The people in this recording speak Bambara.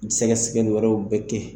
N mi sɛgɛsɛgɛli wɛrɛw bɛ kɛ yen